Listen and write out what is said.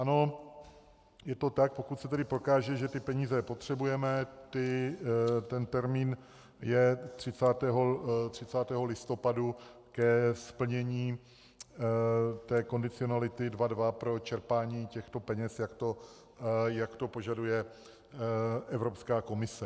Ano, je to tak, pokud se tedy prokáže, že ty peníze potřebujeme, ten termín je 30. listopadu, ke splnění té kondicionality 2.2 pro čerpání těchto peněz, jak to požaduje Evropská komise.